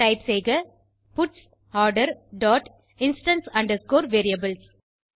type செய்க buds order dot instance underscore variables